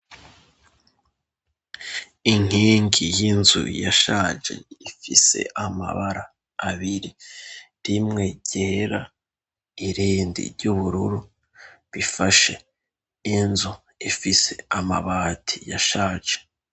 Inkingi y'inzu yashaje ifise amabara abiri, rimwe ryera irindi ry'ubururu, bifashe inzu ifise amabati yashaje.